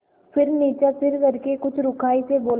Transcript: फिर नीचा सिर करके कुछ रूखाई से बोला